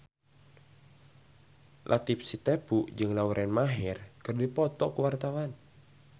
Latief Sitepu jeung Lauren Maher keur dipoto ku wartawan